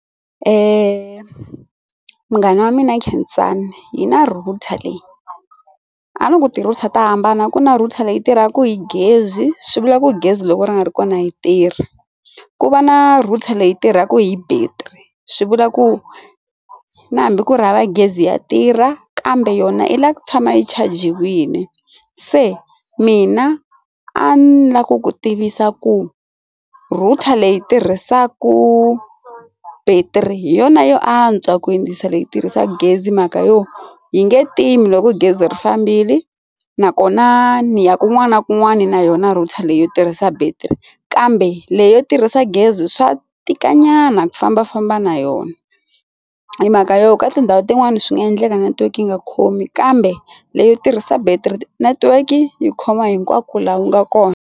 Eeh munghana wa mina Khensani hi na router leyi a no ku ti router ta hambana ku na router leyi tirhaka hi gezi swi vula ku gezi loko ri nga ri kona yi tirhi ku va na router leyi tirhaka hi battery swi vula ku na hambi ku ri hava gezi ya tirha kambe yona i la ku tshama yi chajiwile se mina a ndzi la ku ku tivisa ku router leyi tirhisaka battery hi yona yo antswa ku hindzisa leyi tirhisaka gezi mhaka yo yi nge tindzimi loko gezi ri fambile nakona ni ya kun'wana na kun'wana na yona router leyi yo tirhisa bat three kambe leyi yo tirhisa gezi swa tika nyana ku fambafamba na yona hi mhaka yo ka tindhawu tin'wani swi nga endleka network yi nga khomi kambe leyo tirhisa battery network yi khoma hinkwako laha ku nga kona.